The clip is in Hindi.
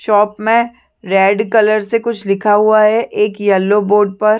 शॉप में रेड कलर से कुछ लिखा हुआ है एक यलो बोर्ड पर--